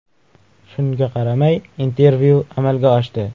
Shunga qaramay intervyu amalga oshdi.